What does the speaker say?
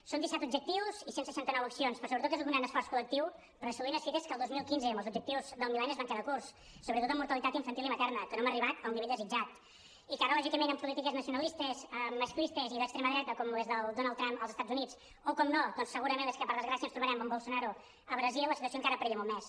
són disset objectius i cent i seixanta nou accions però sobretot és un gran esforç col·lectiu per a assolir unes fites que el dos mil quinze i amb els objectius del mil·lenni es van quedar curts sobretot en mortalitat infantil i materna que no hem arribat al nivell desitjat i que ara lògicament amb polítiques nacionalistes masclistes i d’extrema dreta com les del donald trump als estats units o per descomptat doncs segurament les que per desgràcia ens trobarem amb bolsonaro a brasil la situació encara perilla molt més